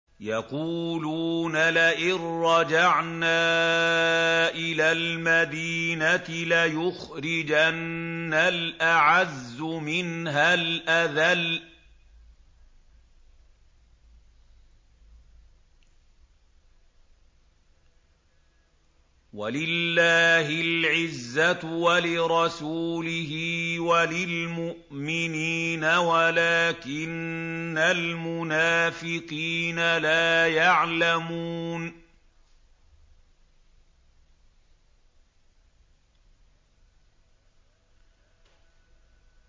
يَقُولُونَ لَئِن رَّجَعْنَا إِلَى الْمَدِينَةِ لَيُخْرِجَنَّ الْأَعَزُّ مِنْهَا الْأَذَلَّ ۚ وَلِلَّهِ الْعِزَّةُ وَلِرَسُولِهِ وَلِلْمُؤْمِنِينَ وَلَٰكِنَّ الْمُنَافِقِينَ لَا يَعْلَمُونَ